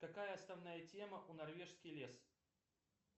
какая основная тема у норвежский лес